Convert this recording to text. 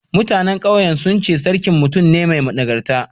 Mutanen ƙauyen sun ce sarkin mutum ne mai nagarta.